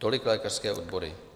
Tolik lékařské odbory.